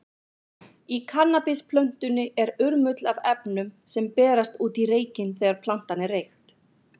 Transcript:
Í kannabisplöntunni er urmull af efnum, sem berast út í reykinn þegar plantan er reykt.